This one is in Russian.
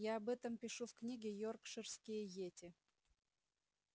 я об этом пишу в книге йоркширские йети